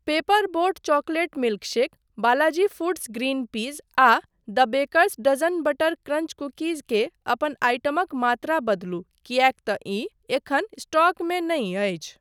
Paper boat chocolate milkshake, Balaji foods green peas आ the baker's dozen butter crunch cookies के अपन आइटमक मात्रा बदलु किएक तँ ई एखन स्टॉकमे नहि अछि।